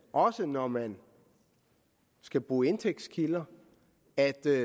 også når man skal bruge indtægtskilder er der